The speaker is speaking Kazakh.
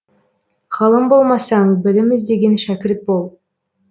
ғалым болмасаң білім іздеген шәкірт бол